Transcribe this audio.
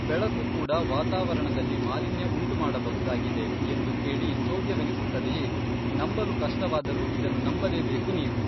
ಬೆಳಕು ಕೂಡ ವಾತಾವರಣದಲ್ಲಿ ಮಾಲಿನ್ಯ ಉಂಟು ಮಾಡಬಹುದಾಗಿದೆ, ಎಂದು ಕೇಳಿ ಚೊದ್ಯವೆನಿಸುತ್ತದೆಯೇ ನಂಬಲು ಕಷ್ಟವಾದರೂ ಇದನ್ನು ನಂಬಲೇಬೇಕು ನೀವು